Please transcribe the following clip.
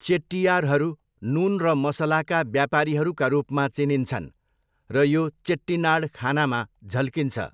चेट्टियारहरू नुन र मसलाका व्यापारीहरूका रूपमा चिनिन्छन् र यो चेट्टिनाड खानामा झल्किन्छ।